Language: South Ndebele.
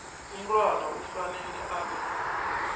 umntwana kufanele abe